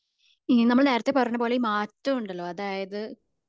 ഇനി നമ്മൾ നേരത്തെ പറഞ്ഞപോലെ മാറ്റം ഉണ്ടല്ലോ അഥായത്‌